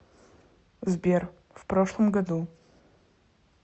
сбер в прошлом году